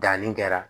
Danni kɛra